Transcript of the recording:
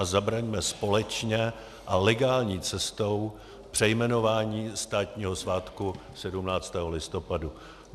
A zabraňme společně a legální cestou přejmenování státního svátku 17. listopadu.